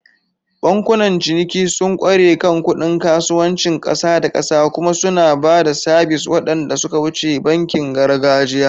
Bankunan ciniki sun ƙware kan kuɗin kasuwancin ƙasa da ƙasa kuma suna ba da sabis waɗanda suka wuce bankin gargajiya.